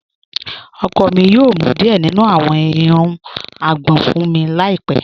Ọkọ mi yoo mú díẹ̀ nínu àwọn èèrùn àgbọn fun mi láípẹ̀